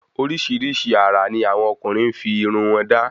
Orísirísi àrà ni àwọn ọkùnrin fi irun wọ́n da